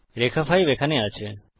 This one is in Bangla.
রেখা 5 এখানে আছে